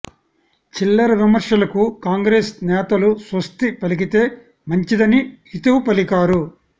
చిల్లర విమర్శలకు కాంగ్రెస్ నేతలు స్వస్తి పలికితే మంచిదని హితవు పలికారు